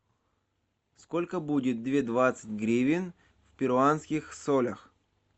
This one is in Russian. сколько будет две двадцать гривен в перуанских солях